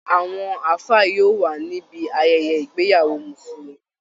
Àwọn àfáà yóò wà níbi ayẹyẹ ìgbéyàwó mùsulùmí